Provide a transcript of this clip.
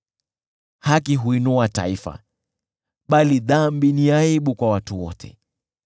Haki huinua taifa, bali dhambi ni aibu kwa watu wote.